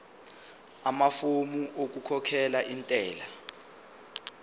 amafomu okukhokhela intela